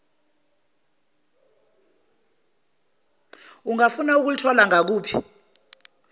ungafuna ukulithola ngaluphi